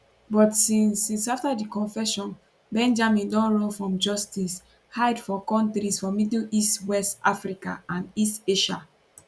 but since since afta di confession benjamin don run from justice hide for kontris for middle east west africa and east asia